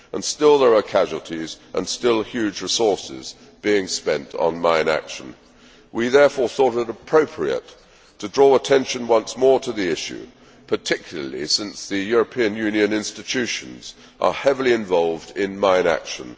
Still there are casualties, and still huge resources are being spent on mine action. We therefore thought it appropriate to draw attention once more to the issue, particularly since the European Union institutions are heavily involved in mine action.